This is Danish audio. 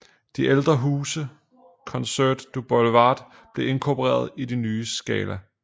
Det ældre hus Concert du Boulevard blev inkorporeret i det nye Scala